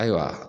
Ayiwa